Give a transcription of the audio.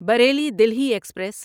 Bareilly Delhi express